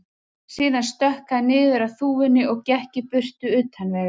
Síðan stökk hann niður af þúfunni og gekk í burtu, utan vegar.